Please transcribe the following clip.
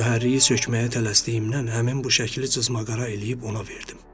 Mühərriki sökməyə tələsdiyimdən həmin bu şəkli cızma-qara eləyib ona verdim.